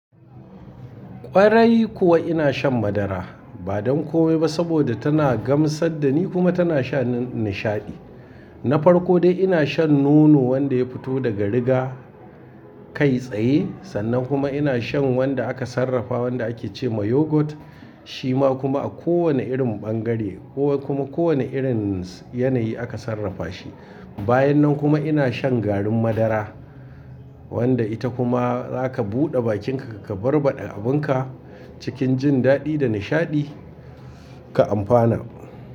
Ƙwarai kuwa ina shan madara. Ba don kome ba saboda tana gamsar da ni kuma tana shani nishaɗi. Na farko dai ina shan nono wanda ya fito daga riga kai tsaye sannan kuma ina shan wanda aka sarrafa wanda ake ce ma yogurt. Shi ma kuma a kowane irin bangare ko kuma kowane irin yanayi aka sarrafa shi. Bayan nan kuma ina shan garin madara wanda ita kuma zaka buɗe bakinka ka barbaɗa abunka cikin jin daɗi da nishaɗi ka amfana.